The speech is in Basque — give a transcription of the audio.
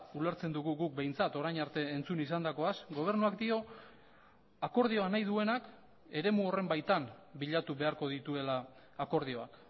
ulertzen dugu guk behintzat orain arte entzun izandakoaz gobernuak dio akordioa nahi duenak eremu horren baitan bilatu beharko dituela akordioak